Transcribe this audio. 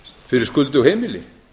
fyrir skuldug heimili